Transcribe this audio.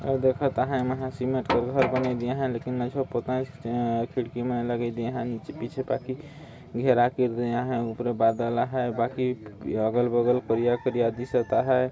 आऊ देखत आहाय एमन हर सीमेंट के घर बनाय दीन आहाय लेकिन नान्झो पोताय खिड़की मन लगाय दे आहाय पीछे पाती घेरा केर दे आहाय उपरे बदल आहाय बाकी अगल बगल करिया करिया दिसत आहाय |